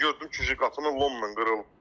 Gördüm ki, qapının lomla qırılıb.